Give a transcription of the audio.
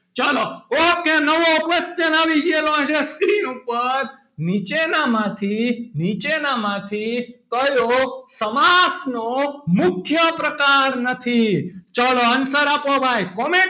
ચલો ok નવો question આવી ગયેલો છે screen ઉપર નીચેનામાંથી નીચેનામાંથી કયો સમાસ નો મુખ્ય પ્રકાર નથી ચલો answer આપો ભાઈ